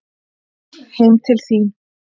Heim til þín